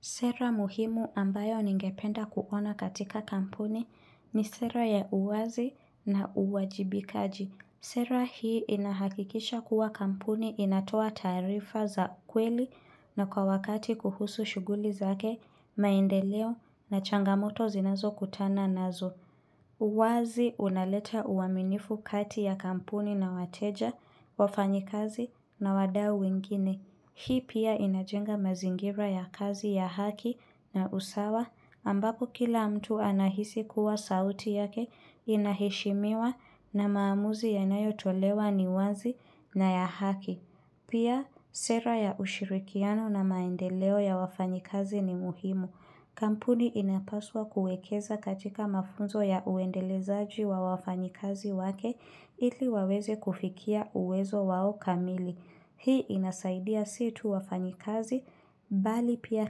Sera muhimu ambayo ningependa kuona katika kampuni ni sera ya uwazi na uwajibikaji. Sera hii inahakikisha kuwa kampuni inatoa taarifa za kweli na kwa wakati kuhusu shughuli zake, maendeleo na changamoto zinazokutana nazo. Uwazi unaleta uaminifu kati ya kampuni na wateja, wafanyikazi na wadau wengine. Hii pia inajenga mazingira ya kazi ya haki na usawa ambapo kila mtu anahisi kuwa sauti yake inaheshimiwa na maamuzi yanayotolewa ni wazi na ya haki. Pia sera ya ushirikiano na maendeleo ya wafanyikazi ni muhimu. Kampuni inapaswa kuekeza katika mafunzo ya uendelezaji wa wafanyikazi wake ili waweze kufikia uwezo wao kamili. Hii inasaidia si tu wafanyikazi, bali pia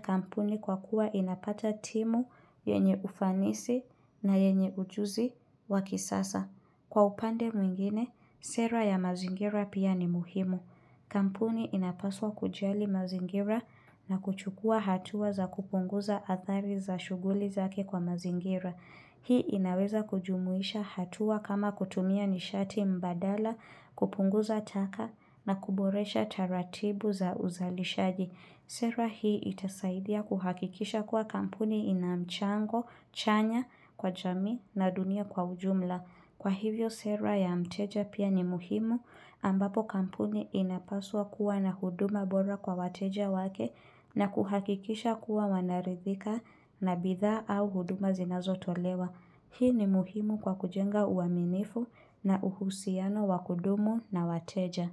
kampuni kwa kuwa inapata timu yenye ufanisi na yenye ujuzi wa kisasa. Kwa upande mwingine, sera ya mazingira pia ni muhimu. Kampuni inapaswa kujali mazingira na kuchukua hatua za kupunguza athari za shughuli zake kwa mazingira. Hii inaweza kujumuisha hatua kama kutumia nishati mbadala kupunguza taka na kuboresha taratibu za uzalishaji. Sera hii itasaidia kuhakikisha kuwa kampuni ina mchango chanya kwa jamii na dunia kwa ujumla. Kwa hivyo sera ya mteja pia ni muhimu ambapo kampuni inapaswa kuwa na huduma bora kwa wateja wake na kuhakikisha kuwa wanaridhika na bidhaa au huduma zinazotolewa. Hii ni muhimu kwa kujenga uaminifu na uhusiano wa kudumu na wateja.